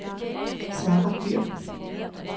Sarah Dyhr